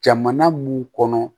Jamana mun kɔnɔ